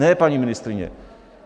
Ne, paní ministryně!